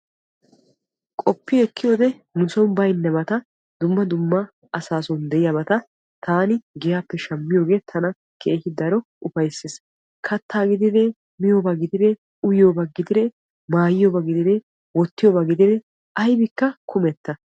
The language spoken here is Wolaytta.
Qopi ekkiyoode nu soon baynnabata dumma dumma asasson diyaabata taan giyappe shammiyoohe tana keehi daro ufayssees. Kattaa gidide, miyooba gidide, uyyiyooba gidide, maayyiyoona gidide wottiyooba gidide aybbikka kummetta.